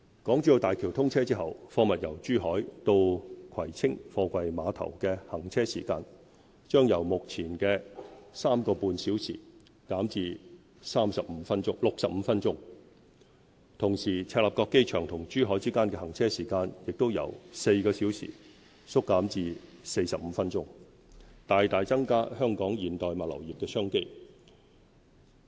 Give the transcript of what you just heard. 港珠澳大橋通車後，貨物由珠海到葵青貨櫃碼頭的行車時間，將由目前的 3.5 小時減至65分鐘；同時，赤鱲角機場與珠海之間的行車時間也由4小時縮減至45分鐘，大大增加香港現代物流業的商機。